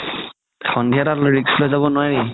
সন্ধিয়া তাত risk লৈ যাব নোৱাৰি